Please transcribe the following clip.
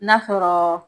N'a fɔɔ